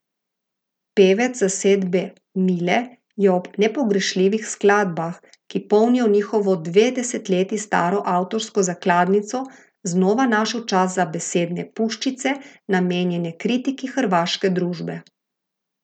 Pevec zasedbe, Mile, je ob nepogrešljivih skladbah, ki polnijo njihovo dve desetletji staro avtorsko zakladnico, znova našel čas za besedne puščice, namenjene kritiki hrvaške družbe.